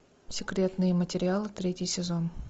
секретные материалы третий сезон